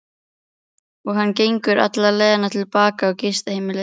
Og hann gengur alla leiðina til baka á gistiheimilið.